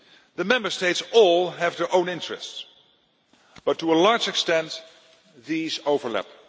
The Member States all have their own interests, but to a large extent these overlap.